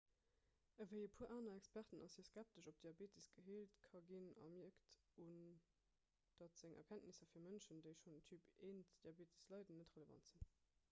ewéi e puer aner experten ass hie skeptesch ob diabetes geheelt ka ginn a mierkt un datt seng erkenntnisser fir mënschen déi schonn un typ-1-diabetes leiden net relevant sinn